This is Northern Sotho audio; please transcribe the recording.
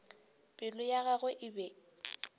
pelo ya gagwe e be